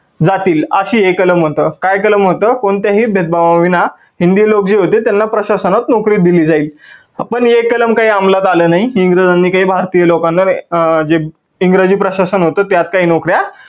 जातील. अशी हे कलम होतं. काय कलम होतं? कोणत्याही भेदभावा विना हिंदी लोक जे होते त्यांना प्रशासनात नोकरी दिली जाईल. पण हे कलम काही अंमलात आलं नाही इंग्रजांनी काही भारतीय लोकांना जे इंग्रजी प्रशासन होत त्यात काही नोकऱ्या